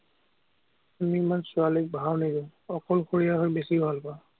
আমি ইমান ছোৱালীক ভাও নিদিয়ো, অকলশৰীয়া হৈ বেছি ভাল পাঁও।